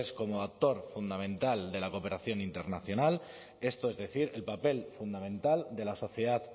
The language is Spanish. como actor fundamental de la cooperación internacional es decir el papel fundamental de la sociedad